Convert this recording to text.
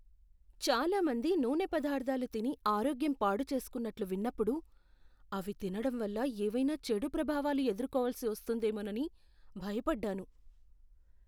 చాలా మంది నూనె పదార్థాలు తిని ఆరోగ్యం పాడు చేసుకున్నట్లు విన్నప్పుడు, అవి తినడం వల్ల ఏవైనా చెడు ప్రభావాలు ఎదుర్కోవాల్సి వస్తుందేమోనని భయపడ్డాను.